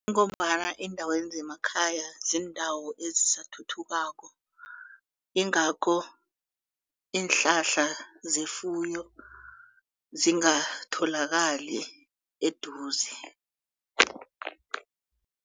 Kungombana eendaweni zemakhaya ziindawo ezisathuthukako yingakho iinhlahla zefuyo zingatholakali eduze.